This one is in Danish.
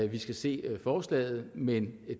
vi skal se forslaget men